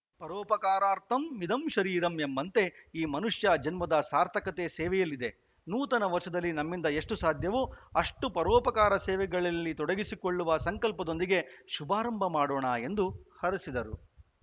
ಪರೋಪಕಾರಾರ್ಥಮಿದಂ ಶರೀರಮ್‌ ಎಂಬಂತೆ ಈ ಮನುಷ್ಯ ಜನ್ಮದ ಸಾರ್ಥಕತೆ ಸೇವೆಯಲ್ಲಿದೆ ನೂತನ ವರ್ಷದಲ್ಲಿ ನಮ್ಮಿಂದ ಎಷ್ಟುಸಾಧ್ಯವೋ ಅಷ್ಟುಪರೋಪಕಾರಸೇವೆಗಳಲ್ಲಿ ತೊಡಗಿಸಿಕೊಳ್ಳುವ ಸಂಕಲ್ಪದೊಂದಿಗೆ ಶುಭಾರಂಭ ಮಾಡೋಣ ಎಂದು ಹರಸಿದರು